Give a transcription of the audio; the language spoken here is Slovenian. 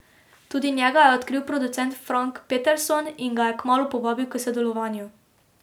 Tudi njega je odkril producent Frank Peterson, in ga je kmalu povabil k sodelovanju.